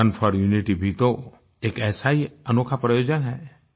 run for unity भी तो एक ऐसा ही अनोखा प्रोविजन है